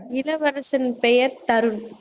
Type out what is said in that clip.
இளவரசன் பெயர் தருண்